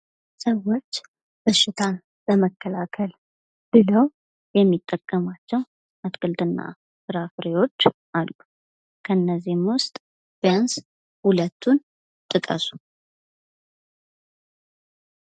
ሰዎች በሽታን ለመከላከል ብለው የሚጠቀማቸው አትክልት እና ፍራፍሬዎች አሉ ። እነዚህም ውስጥ ቢያንስ ሁለቱን ጥቀሱ?